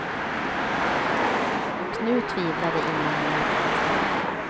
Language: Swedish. Och nu tvivlade ingen längre på hans talang.